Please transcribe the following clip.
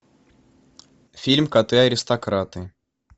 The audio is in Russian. фильм коты аристократы